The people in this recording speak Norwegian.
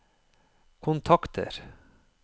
kontakter